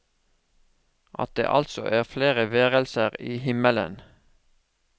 At det altså er flere værelser i himmelen.